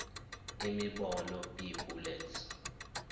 imibono b bullets